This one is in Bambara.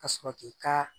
Ka sɔrɔ k'i ka